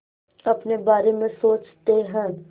अपने बारे में सोचते हैं